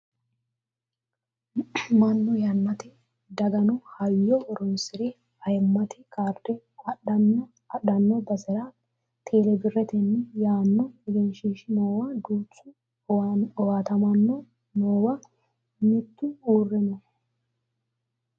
mannu yannate daggino hayyo horonsire ayiimmate kaarde adhanno basera tele birretenni yaanno egenshiishshi noowa duuchu owaatamaano noowa mittu uure no